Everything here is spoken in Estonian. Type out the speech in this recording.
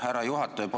Härra juhataja!